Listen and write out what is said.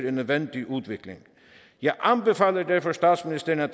en nødvendig udvikling jeg anbefaler derfor statsministeren at